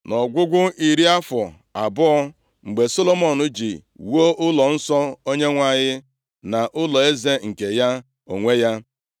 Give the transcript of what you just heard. Nʼọgwụgwụ iri afọ abụọ, mgbe Solomọn ji wuo ụlọnsọ Onyenwe anyị na ụlọeze nke ya onwe ya,